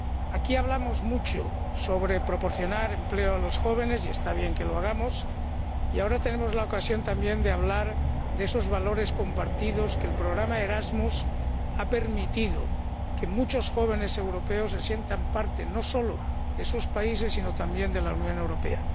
Aquí hablamos mucho sobre proporcionar empleo a los jóvenes, y está bien que lo hagamos, pero ahora tenemos también la ocasión de hablar de esos valores compartidos, porque el programa Erasmus ha permitido que muchos jóvenes europeos se sientan parte no solo de sus países, sino también de la Unión Europea.